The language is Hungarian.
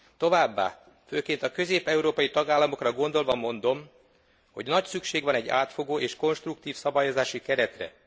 Továbbá, főként a közép európai tagállamokra gondolva mondom, hogy nagy szükség van egy átfogó és konstruktív szabályozási keretre.